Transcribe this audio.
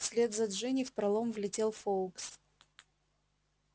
вслед за джинни в пролом влетел фоукс